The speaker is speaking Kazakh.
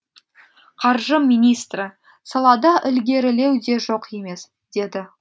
қаржы министрі салада ілгерілеу де жоқ емес деді